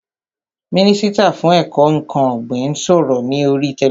Mínísítà fún ètò ǹkan ọ̀gbìn ń sọ̀rọ̀ ní oríi tẹlifísàn